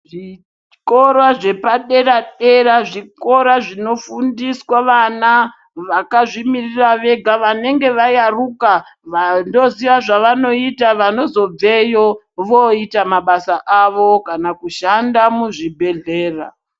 Zvikora zvepadera-dera, zvikora zvinofundiswa vana vakazvimiririra vega, vanenge vayaruka, vanoziya zvavanoyita vanozobveyo voyita mabasa avo kana kushanda muzvibhedhlera.